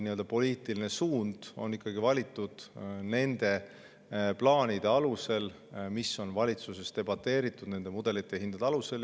Ja poliitiline suund on ikkagi valitud nende plaanide alusel, mida on valitsuses debateeritud, mudelite ja hindade alusel.